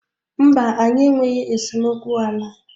Mba, anyị enweghị esemokwu ala.